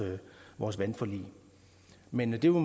vores vandforlig men det må